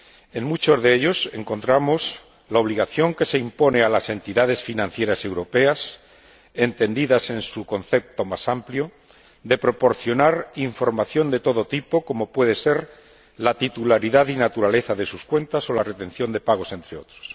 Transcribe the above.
En muchos de ellos encontramos la obligación que se impone a las entidades financieras europeas, entendidas en su concepto más amplio, de proporcionar información de todo tipo como puede ser la titularidad y naturaleza de sus cuentas o la retención de pagos, entre otras.